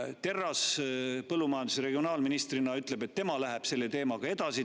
Terras põllumajandus- ja regionaalministrina ütleb, et tema läheb selle teemaga edasi.